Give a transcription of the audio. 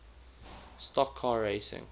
stock car racing